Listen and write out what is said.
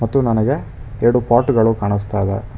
ಮತ್ತು ನನಗೆ ಎರಡು ಪಾರ್ಟ್ ಗಳು ಕಾಣಿಸ್ತದೆ.